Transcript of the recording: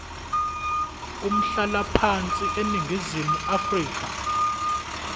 umhlalaphansi eningizimu afrika